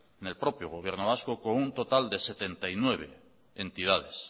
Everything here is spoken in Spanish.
con un total de setenta y nueve entidades